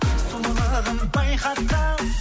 сұлулығын байқатқан